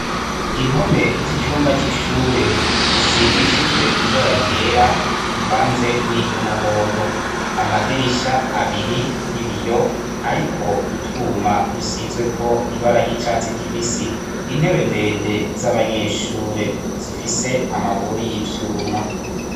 Impome z'icumba c'ishure zisize ibara ryera rivanze niry'umuhondo, amadirisha abiri y'ibiyo ariko utwuma dusizweko ibara icatsi kibisi ,intebe ndende z'abanyeshure zifise amaguru y'ivyuma.